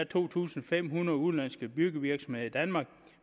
to tusind fem hundrede udenlandske byggevirksomheder i danmark